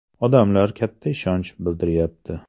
Odamlar katta ishonch bildiryapti.